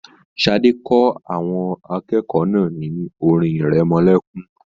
Sadé kọ́ àwọn akẹ́kọ̀ọ́ náà ní orin-ìrẹmọlẹ́kún.